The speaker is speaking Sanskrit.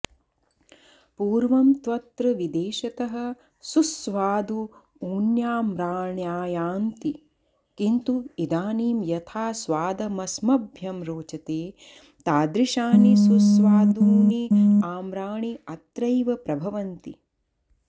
पूर्वं त्वत्र विदेशतः सुस्वादून्याम्राण्यायान्ति किन्तु इदानीं यथा स्वादमस्मभ्यं रोचते तादृशानि सुस्वादून्याम्राण्यत्रैव प्रभवन्ति